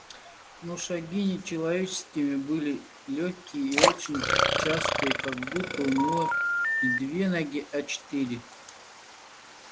но шаги не человеческие были лёгкие и очень частые как будто у него не две ноги а четыре